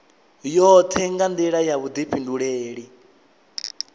yoṱhe nga nḓila ya vhuḓifhinduleli